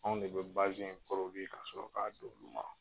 Anw de be basɛn ka sɔrɔ k'a di olu ma.